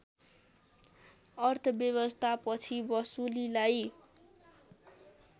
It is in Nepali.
अर्थव्यवस्था पछि वसुलीलाई